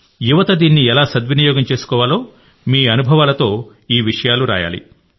యువత దీన్ని ఎలా సద్వినియోగం చేసుకోవాలో మీ అనుభవాలతో బ్లాగ్ రాయాలి